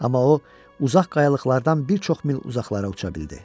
Amma o, uzaq qayalıqlardan bir çox mil uzaqlara uça bildi.